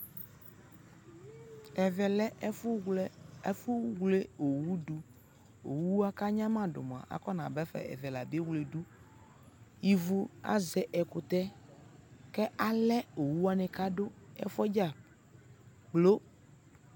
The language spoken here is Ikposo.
Ɛvɛ lɛ ɛfu wlɛ ɛfu wle owu dʋ Owuakanyamadu mua afɔnaba ɛvɛ Ɛvɛ la abewleyi du Ivu azɛ ɛkutɛ yɛ kɛ alɛ owuwani kadʋ ɛfu yɛ dzakplo